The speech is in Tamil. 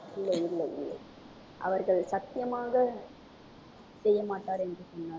இல்லை இல்லை இல்லை அவர்கள் சத்தியமாக செய்யமாட்டார் என்று சொன்னார்கள்.